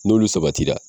N'olu sabatira